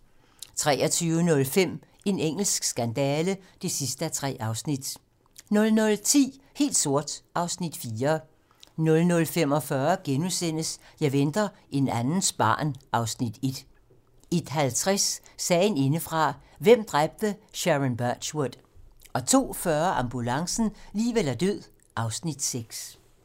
23:05: En engelsk skandale (3:3) 00:10: Helt sort (Afs. 4) 00:45: Jeg venter en andens barn (Afs. 1)* 01:50: Sagen indefra - hvem dræbte Sharon Birchwood? 02:40: Ambulancen - liv eller død (Afs. 6)